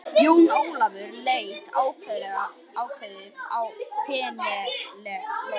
Jón Ólafur leit ákveðið á Penélope.